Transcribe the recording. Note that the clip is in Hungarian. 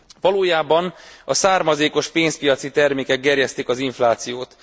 Valójában a származékos pénzpiaci termékek gerjesztik az inflációt.